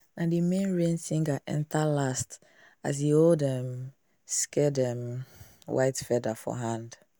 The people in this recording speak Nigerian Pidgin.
na the main rain singer enter last as e hold um sacred um white feather for hand.